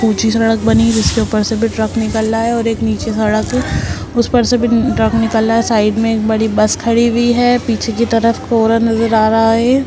ऊंची सड़क बनी हुई है जिसके ऊपर से भी ट्रक निकल रहा है और एक निचे सड़क है उस पर से भी ट्रक निकल रहा है साइड में एक बड़ी बस खड़ी हुई है पीछे की तरफ कोहरा नजर आ रहा है।